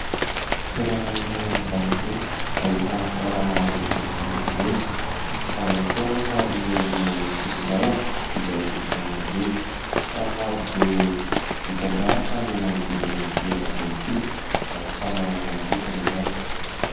Toerana iray eny an-dalambe ahitana fiara maro izay mifamezivezy. Ao ihany koa anefa ireo olona eny amin'ny sisin-dalana izay mifamoivoy ; trano marobe mitandahatra no manodidina ity arabe ity ary samy manana ny lokony izany.